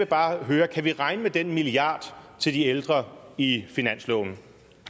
bare høre kan vi regne med den milliard til de ældre i finansloven